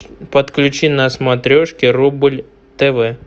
подключи на смотрешке рубль тв